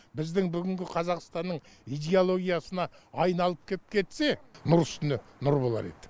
біздің бүгінгі қазақстанның идеологиясына айналып кеп кетсе нұр үстіне нұр болар еді